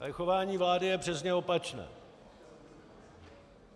Ale chování vlády je přesně opačné.